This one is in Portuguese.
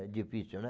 É difícil, né?